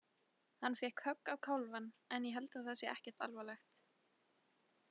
Hann fékk högg á kálfann en ég held að það sé ekkert alvarlegt.